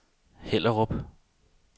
Hellerup